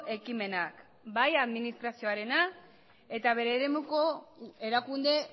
ekimenak bai administrazioarena eta bere eremuko erakunde